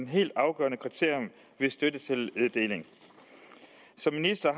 helt afgørende kriterium ved støttetildeling som minister